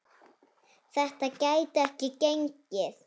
Þetta gæti ekki gengið.